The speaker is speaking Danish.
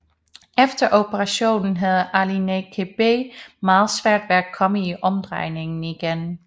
Efter operationen havde Alioune Kébé meget svært ved at komme i omdrejninger igen